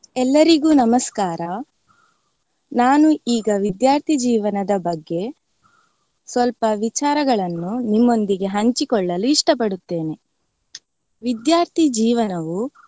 ಎಲ್ಲರಿಗೂ ನಮಸ್ಕಾರ. ನಾನು ಈಗ ವಿದ್ಯಾರ್ಥಿ ಜೀವನದ ಬಗ್ಗೆ ಸ್ವಲ್ಪ ವಿಚಾರಗಳನ್ನು ನಿಮ್ಮೊಂದಿಗೆ ಹಂಚಿಕೊಳ್ಳಲು ಇಷ್ಟ ಪಡುತ್ತೇನೆ. ವಿದ್ಯಾರ್ಥಿ ಜೀವನವೂ.